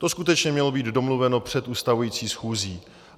To skutečně mělo být domluveno před ustavující schůzí.